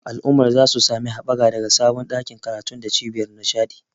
Al'ummar za su sami haɓaka daga sabon ɗakin karatu da cibiyar nishaɗi.